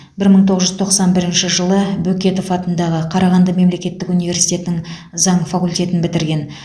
бір мың тоғыз жүз тоқсан бірінші жылы бөкетов атындағы қарағанды мемлекеттік университетінің заң факультетін бітірген